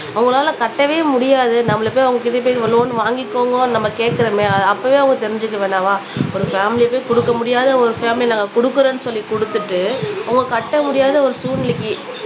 அவங்களால கட்டவே முடியாது நம்மள போய் அவங்க கிட்ட போய் லோன் வாங்கிக்கோங்கன்னு நம்ம கேட்கிறோமே அப்பவே அவங்க தெரிஞ்சுக்க வேணாமா ஒரு பேமிலி போய் கொடுக்க முடியாத ஒரு பேமிலி நாங்க கொடுக்கிறோம்னு சொல்லி கொடுத்துட்டு அவங்க கட்ட முடியாத ஒரு சூழ்நிலைக்கு